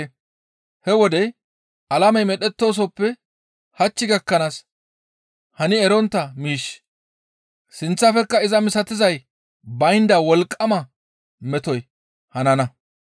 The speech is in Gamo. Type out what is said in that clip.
He wode alamey medhettoosoppe hach gakkanaas hani erontta miishshi sinththafekka iza misatizay baynda wolqqama metoy hanana.